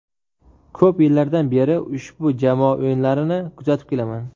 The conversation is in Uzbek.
Ko‘p yillardan beri ushbu jamoa o‘yinlarini kuzatib kelaman.